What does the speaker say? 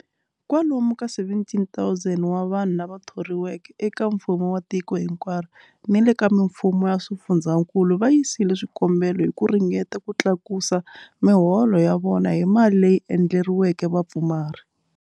Kwalomu ka 17,000 wa vanhu lava thoriweke eka mfumo wa tiko hinkwaro ni le ka mifumo ya swifundzankulu va yisile swikombelo hi ku ringeta ku tlakusa miholo ya vona hi mali leyi endleriweke vapfumari.